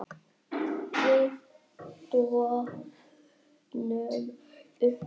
Við dofnum upp.